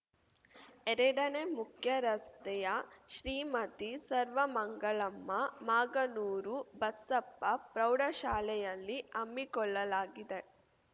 ಎರಡನೇ ಮುಖ್ಯ ರಸ್ತೆಯ ಶ್ರೀಮತಿ ಸರ್ವಮಂಗಳಮ್ಮ ಮಾಗನೂರು ಬಸಪ್ಪ ಪ್ರೌಢಶಾಲೆಯಲ್ಲಿ ಹಮ್ಮಿಕೊಳ್ಳಲಾಗಿದೆ